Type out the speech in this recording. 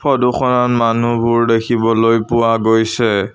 ফটোখনত মানুহবোৰ দেখিবলৈ পোৱা গৈছে।